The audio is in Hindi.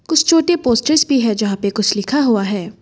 कुछ छोटे पोस्टर भी हैं जहाँ पर कुछ लिखा हुआ है।